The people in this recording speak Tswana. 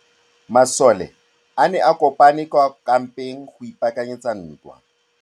Masole a ne a kopane kwa kampeng go ipaakanyetsa ntwa.